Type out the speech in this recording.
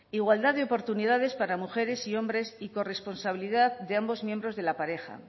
igualdad de oportunidades para mujeres y hombres y corresponsabilidad de ambos miembros de la pareja